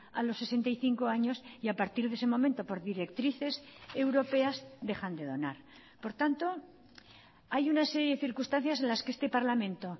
a los sesenta y cinco años y a partir de ese momento por directrices europeas dejan de donar por tanto hay una serie de circunstancias en las que este parlamento